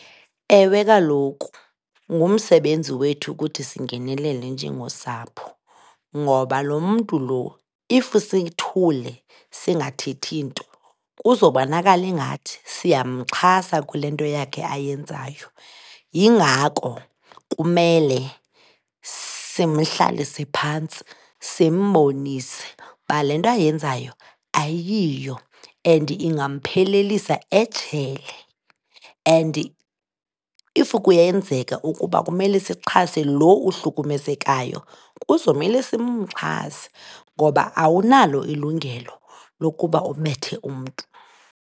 Ewe, kaloku ngumsebenzi wethu ukuthi singenelele njengosapho ngoba loo mntu loo if sithule singathethi nto kuzobonakala ingathi siyamxhasa kule nto yakhe ayenzayo, yingako kumele simhlalise phantsi simbonise uba le nto ayenzayo ayiyo and ingamphelelisa ejele. And if kuyenzeka ukuba kumele sixhase lo uhlukumezekayo kuzomele simxhase ngoba awunalo ilungelo lokuba ubethe umntu.